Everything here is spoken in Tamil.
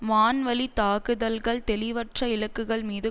வான்வழித்தாக்குதல்கள் தெளிவற்ற இலக்குகள் மீது